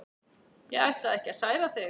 Ég ætlaði ekki að særa þig.